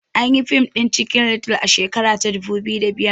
Anyi yi fim ɗin cikin little a shekara ta dubu biyu da biyar